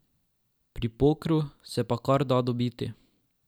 Pri pokru se pa kar da dobiti.